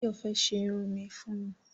Báyọ̀ fẹ́ ṣe irun mi fún mi